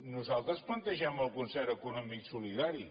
nosaltres plantegem el concert econòmic solidari